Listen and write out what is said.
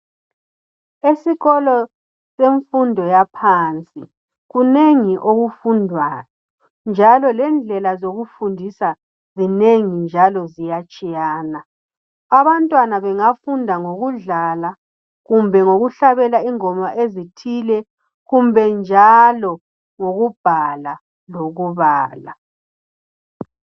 Esikolo semfundo yaphansi kunengi okufundwayo njalo lendlela zokufundisa zinengi njalo ziyatshiyana. Abantwana bengafunda ngokudlala kumbe ngokuhlabela ingoma ezithile kumbe njalo ngokubhala lokubala.